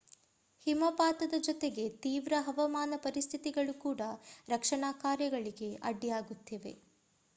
ಹಿಮಪಾತದ ಜೊತೆಗೆ ತೀವ್ರ ಹವಾಮಾನ ಪರಿಸ್ಥಿತಿಗಳು ಕೂಡ ರಕ್ಷಣಾ ಕಾರ್ಯಗಳಿಗೆ ಅಡ್ಡಿಯಾಗುತ್ತಿವೆ